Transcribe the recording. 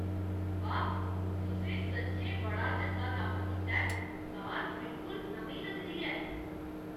वाह् ! तुसें सच्चें बड़ा चंगा कम्म कीता ऐ। कार बिलकुल नमीं लगदी ऐ!